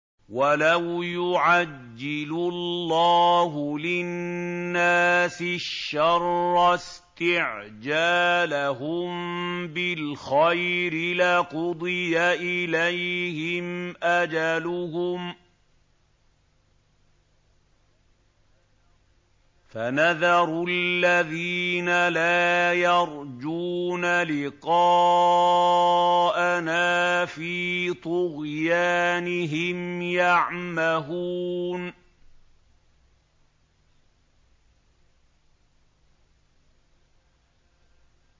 ۞ وَلَوْ يُعَجِّلُ اللَّهُ لِلنَّاسِ الشَّرَّ اسْتِعْجَالَهُم بِالْخَيْرِ لَقُضِيَ إِلَيْهِمْ أَجَلُهُمْ ۖ فَنَذَرُ الَّذِينَ لَا يَرْجُونَ لِقَاءَنَا فِي طُغْيَانِهِمْ يَعْمَهُونَ